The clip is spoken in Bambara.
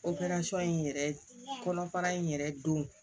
in yɛrɛ kɔnɔ fara in yɛrɛ don